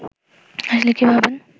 আসলে কী ভাবেন